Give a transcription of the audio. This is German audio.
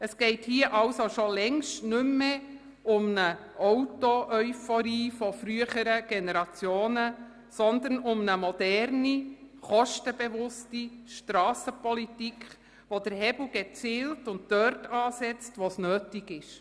Es geht hier schon längst nicht mehr um eine Autoeuphorie früherer Generationen, sondern um eine moderne, kostenbewusste Strassenpolitik, die den Hebel gezielt ansetzt, nämlich dort, wo es nötig ist.